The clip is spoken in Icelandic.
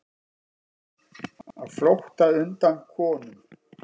Á flótta undan konum